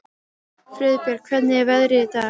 Friðbjörg, hvernig er veðrið í dag?